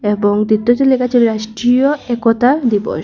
লেখা আছে রাষ্ট্রীয় একতা দিবস।